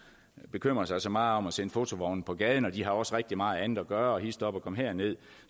bekymre sig så meget om at sende fotovogne på gaden og de har også rigtig meget andet at gøre og hist op og kom her nederst